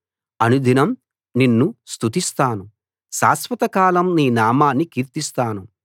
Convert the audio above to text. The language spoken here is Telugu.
అనుదినం నిన్ను స్తుతిస్తాను శాశ్వతకాలం నీ నామాన్ని కీర్తిస్తాను